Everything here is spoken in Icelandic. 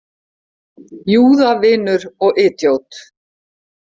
Júðavinur og idjót.